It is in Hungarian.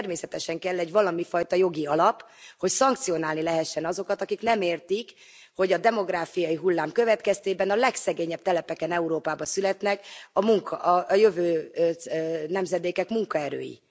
Ehhez természetesen kell egy valamifajta jogi alap, hogy szankcionálni lehessen azokat, akik nem értik, hogy a demográfiai hullám következtében a legszegényebb telepeken Európába születnek a jövő nemzedékek munkaerői.